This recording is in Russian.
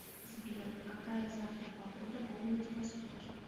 сбер какая завтра погода во владивостоке